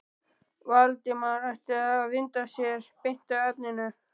Valdimar ætti að vinda sér beint að efninu.